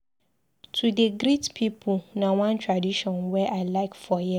To dey greet pipu na one tradition wey I like for here.